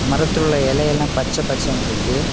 மரத்தில் உள்ள இலையெல்லாம் பச்ச பசேன்ட்ருக்கு.